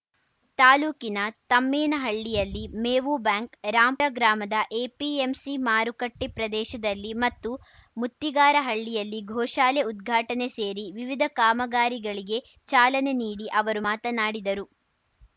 ತಾಲೂಕಿನ ತಮ್ಮೇನಹಳ್ಳಿಯಲ್ಲಿ ಮೇವು ಬ್ಯಾಂಕ್‌ ರಾಂ ಗ್ರಾಮದ ಎಪಿಎಂಸಿ ಮಾರುಕಟ್ಟೆಪ್ರದೇಶದಲ್ಲಿ ಮತ್ತು ಮುತ್ತಿಗಾರಹಳ್ಳಿಯಲ್ಲಿ ಗೋಶಾಲೆ ಉದ್ಘಾಟನೆ ಸೇರಿ ವಿವಿಧ ಕಾಮಗಾರಿಗಳಿಗೆ ಚಾಲನೆ ನೀಡಿ ಅವರು ಮಾತನಾಡಿದರು